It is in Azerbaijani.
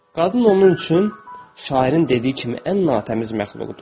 Qadın onun üçün şairin dediyi kimi ən natəmiz məxluqdur.